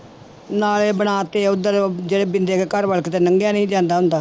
ਨਾਲੇ ਬਣਾ ਦਿੱਤੇ ਉੱਧਰ ਜਿਹੜੇ ਬਿੰਦੇ ਕੇ ਘਰ ਵੱਲ ਕਿਤੇ ਲੰਘਿਆ ਨੀ ਜਾਂਦਾ ਹੁੰਦਾ